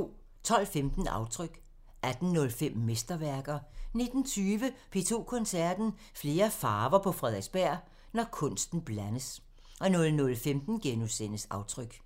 12:15: Aftryk 18:05: Mesterværker 19:20: P2 Koncerten – Flere farver på Frederiksberg – når kunsten blandes 00:15: Aftryk *